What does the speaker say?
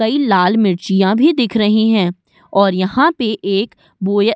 कई लाल मिर्चियाँ भी दिख रही हैं और यहां पे एक बोया --